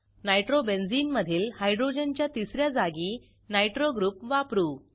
nitrobenzene मधील हायड्रोजनच्या तिस या जागी नायट्रो ग्रुप वापरू